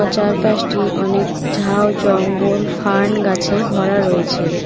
চার পাশটি অনেক ঝাউ জঙ্গল ফার্ন গাছে ভরা রয়েছে।